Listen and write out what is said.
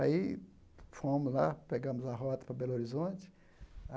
Aí fomos lá, pegamos a rota para Belo Horizonte.